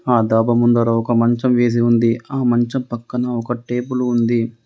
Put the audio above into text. ఆ ధాబా ముందర ఒక మంచం వేసి ఉంది. ఆ మంచం పక్కన ఒక టేబుల్ ఉంది.